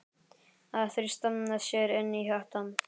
Að þrýsta sér inn í hjartað.